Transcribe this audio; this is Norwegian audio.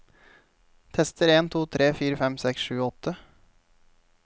Tester en to tre fire fem seks sju åtte